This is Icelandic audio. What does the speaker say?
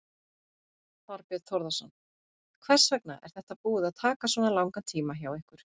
Þorbjörn Þórðarson: Hvers vegna er þetta búið að taka svona langan tíma hjá ykkur?